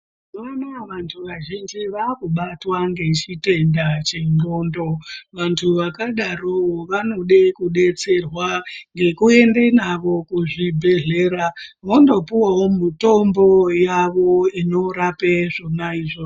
Mazuva anaya vantu vazhinji vakubatwa ngechitenda chendxondo. Vantu vakadarovo vanoda kudetserwa nekuende navo kuchibhedhlera vondopuwavo mutombo inorape zvona izvozvo.